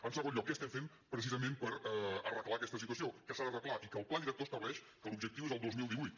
en segon lloc què estem fent precisament per arreglar aquesta situació que s’ha d’arreglar i que el pla director estableix que l’objectiu és el dos mil divuit